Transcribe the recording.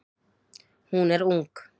Hún er ung.